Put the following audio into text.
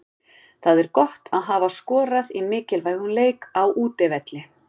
Það er gott að hafa skorað í mikilvægum leik, á útivelli.